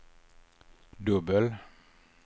dubbel